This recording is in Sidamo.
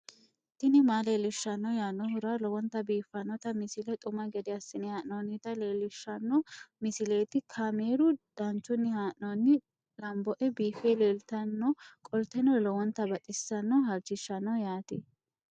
tini maa leelishshanno yaannohura lowonta biiffanota misile xuma gede assine haa'noonnita leellishshanno misileeti kaameru danchunni haa'noonni lamboe biiffe leeeltannoqolten lowonta baxissannoe halchishshanno yaate